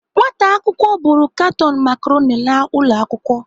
Nwata akwụkwọ buru katon macaroni laa ụlọ akwụkwọ.